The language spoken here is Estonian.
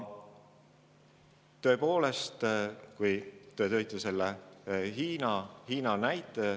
Te tõite selle Hiina näite.